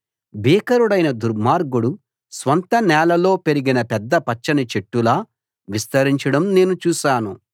భీకరుడైన దుర్మార్గుడు స్వంత నేలలో పెరిగిన పెద్ద పచ్చని చెట్టులా విస్తరించడం నేను చూశాను